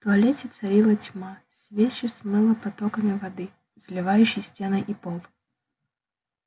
в туалете царила тьма свечи смыло потоками воды заливающей стены и пол